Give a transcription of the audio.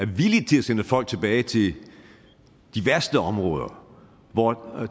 villige til at sende folk tilbage til de værste områder hvor der